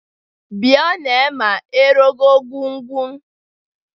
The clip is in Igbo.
Vbioni ema erọọkọ gwun̄ gwun̄.